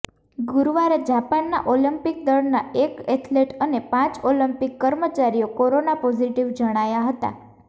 ગુરુવારે જાપાનના ઓલિમ્પિક દળના એક એથલેટ અને પાંચ ઓલિમ્પિક કર્મચારીઓ કોરોના પોઝિટિવ જણાયા હતા